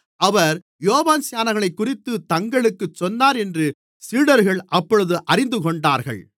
அவர் யோவான்ஸ்நானனைக்குறித்துத் தங்களுக்குச் சொன்னார் என்று சீடர்கள் அப்பொழுது அறிந்துகொண்டார்கள்